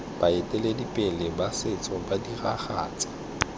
baeteledipele ba setso ba diragatsa